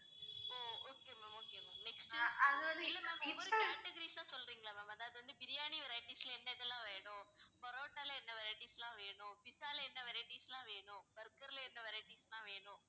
ஓ okay ma'am categories ஆ சொல்றீங்களா ma'am அதாவது biryani varieties ல என்ன என்னலாம் வேணும் பரோட்டால என்ன varieties லாம் வேணும் pizza ல என்ன varieties லாம் வேணும் burger ல என்ன varieties லாம் வேணும்